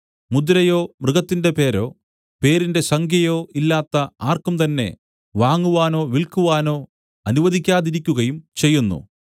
മുദ്രയോ മൃഗത്തിന്റെ പേരോ പേരിന്റെ സംഖ്യയോ ഇല്ലാത്ത ആർക്കും തന്നെ വാങ്ങുവാനോ വില്ക്കുവാനോ അനുവദിക്കാതിരിക്കുകയും ചെയ്യുന്നു